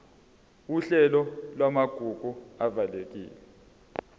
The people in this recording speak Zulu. uhlelo lwamagugu avikelwe